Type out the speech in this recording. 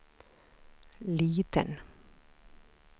liten